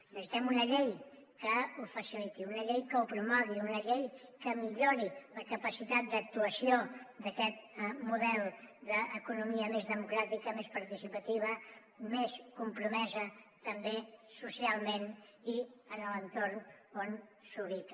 necessitem una llei que ho faciliti una llei que ho promogui una llei que millori la capacitat d’actuació d’aquest model d’economia més democràtica més participativa més compromesa també socialment i en l’entorn on s’ubica